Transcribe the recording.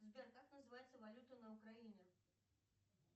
сбер как называется валюта на украине